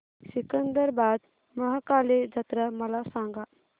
सिकंदराबाद महाकाली जत्रा मला सांगा